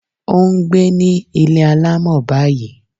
Ó n gbé ní Ilé alámọ̀ báyìí